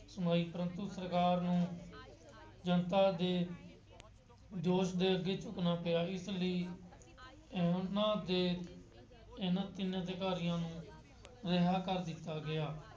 ਸੁਣਾਈ ਪਰੰਤੂ ਸਰਕਾਰ ਨੂੰ ਜਨਤਾ ਦੇ ਜੋਸ਼ ਦੇ ਅੱਗੇ ਝੁਕਣਾ ਪਿਆ। ਇਸ ਲਈ ਉਹਨਾ ਦੇ ਇਹਨਾ ਤਿੰਨ ਅਧਿਕਾਰੀਆਂ ਨੂੰ ਰਿਹਾਅ ਕਰ ਦਿੱਤਾ ਗਿਆ।